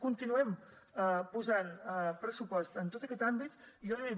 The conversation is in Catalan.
continuem posant pressupost en tot aquest àmbit i jo li he dit